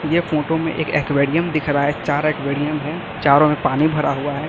ये फोटो में एक एक्वेरियम दिख रहा है चार एक्वेरियम है चारों में पानी भरा हुआ है।